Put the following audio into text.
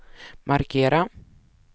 markera